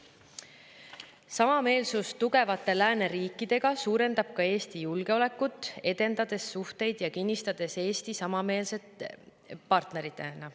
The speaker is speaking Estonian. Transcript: Samameelsus tugevate lääneriikidega suurendab ka Eesti julgeolekut, edendades suhteid ja kinnistades Eesti samameelse partnerina.